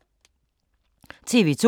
TV 2